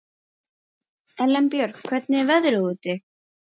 Elenborg, hvernig er veðrið úti?